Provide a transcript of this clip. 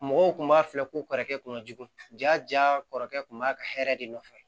Mɔgɔw kun b'a filɛ ko kɔrɔkɛ kun ka jugu ja kɔrɔkɛ kun b'a ka hɛrɛ de nɔfɛ